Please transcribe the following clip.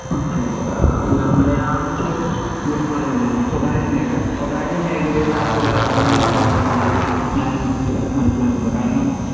okay അല്ല മലയാളത്തില് ഇന്നിപ്പോ പറയണില്ലേ എന്താ സ്വകാര്യ മേഖല സ്വകാര്യ മേഖലയിലുള്ള തൊഴിലവസരങ്ങൾ കൊറവാണെന്നാണ് ഞാനും മനസ്സിലാകുന്നത് കാരണം